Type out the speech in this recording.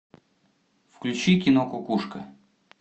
включи кино кукушка